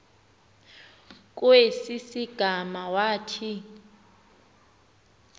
kwesi sigama wathi